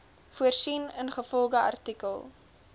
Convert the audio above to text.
voorsien ingevolge artikel